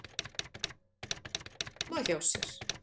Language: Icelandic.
heima hjá sér.